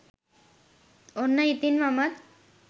ඔන්න ඉතින් මමත්